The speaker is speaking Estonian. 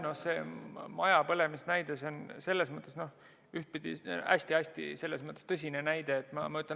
No see maja põlemise näide on hästi-hästi tõsine näide.